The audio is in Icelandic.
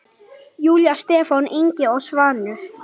Júlía, Stefán Ingi og Svanur.